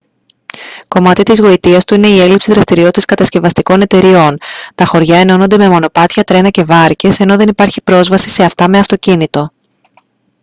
κομμάτι της γοητείας του είναι η έλλειψη δραστηριότητας κατασκευαστικών εταιριών τα χωριά ενώνονται με μονοπάτια τρένα και βάρκες ενώ δεν υπάρχει πρόσβαση σε αυτά με αυτοκίνητο